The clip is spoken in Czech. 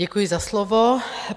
Děkuji za slovo.